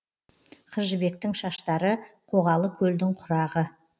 қыз жібектің шаштары қоғалы көлдің құрағы